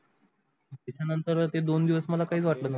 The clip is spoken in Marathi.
त्याचा न नंतर ते दोन दिवस मला काहीच वाटल नही.